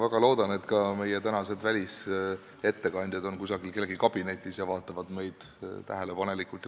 Ma väga loodan, et ka meie tänased välisettekandjad on kusagil kellegi kabinetis ning vaatavad ja kuulavad meid tähelepanelikult.